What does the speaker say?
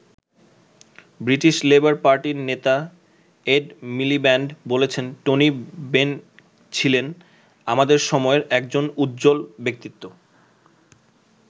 British Labour পার্টির নেতা Ed Miliband বলেছেন টনি বেন ছিলেন "আমাদের সময়ের একজন উজ্জ্বল ব্যক্তিত্ব"।